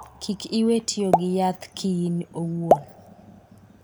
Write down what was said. Kik iwee tiyo gi yath ki in owuon.